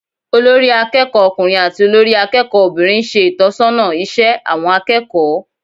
Olórí akẹ́kọ̀ọ́ ọkùnrin àti olórí akẹ́kọ̀ọ́ obìnrin ń ṣe ìtọ́sọ́nà iṣẹ́ àwọn akẹ́kọ̀ọ́